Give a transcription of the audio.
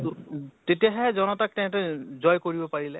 উ তেতিয়াহে জনতাক তেহেতে জয় কৰিব পাৰিলে ।